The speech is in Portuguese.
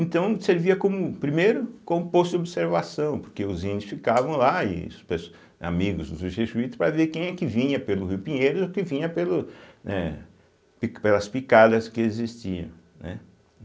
Então, servia como primeiro como posto de observação, porque os índios ficavam lá, e os pes amigos dos jesuítas, para ver quem é que vinha pelo rio Pinheiros ou que vinha pelo, né, pelas picadas que existiam, né.